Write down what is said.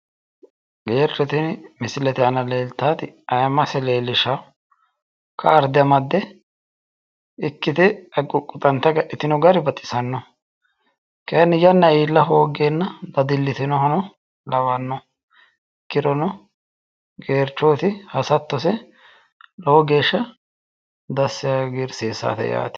Geercho tini misilete aana leeltannoti ayimmase leellishshanno kaarde amadde ikmite quqquxante agadhitino gari baxisanno. Kayinni yanna iilla hoggeenna dadillitinohano lawanno. Ikkirino geerchoyiti hasattose lowo geeshsha dassi yee hagiiirsiissawote yaate.